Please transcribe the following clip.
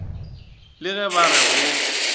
le ge ba re go